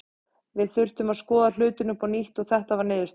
Við þurftum að skoða hlutina upp á nýtt og þetta var niðurstaðan.